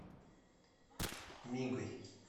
мигой